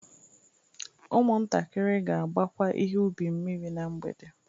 Ụmụntakịrị ga-agbakwa ihe ubi mmiri na mgbede